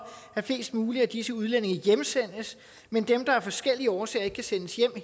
at flest mulige af disse udlændinge hjemsendes men dem der er af forskellige årsager ikke kan sendes hjem